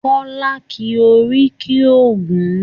Kọ́lá ki oríkì Ògún.